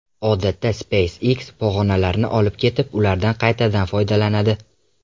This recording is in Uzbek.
Odatda SpaceX pog‘onalarni olib ketib, ulardan qaytadan foydalanadi.